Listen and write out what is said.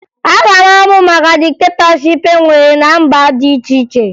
Aga m amụ maka diktetọship e nwere ná mba dị iche iche